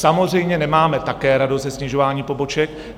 Samozřejmě nemáme také radost ze snižování poboček.